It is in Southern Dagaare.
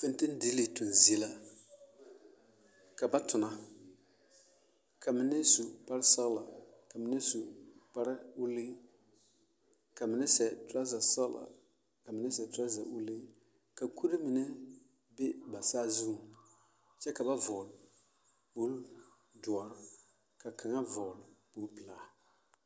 fɛŋtele diŋle tuŋ zie la ka ba tona ka mine su kpare sɔŋlɔ ka mine su kpare ulii ka mine sie trosɛ sɔŋlɔ kka mine sie trosɛ ulii ka kuri mine be ba saa zu kyɛ ka ba vɔle bondoɔre ka kang vɔle bonpilaa.